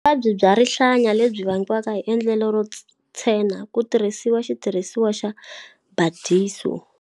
Vuvabyi bya rihlaya lebyi vangiwaka hi endlelo ro tshena ku tirhisiwa xitirhisiwa xa Burdizzo.